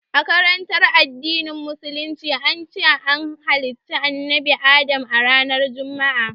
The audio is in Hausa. A karantarwar addinin musulunci, an ce an halicci annabi Adamu a ranar Juma'a